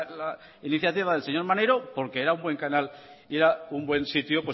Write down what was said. la iniciativa del señor maneiro porque era un buen canal y era un buen sitio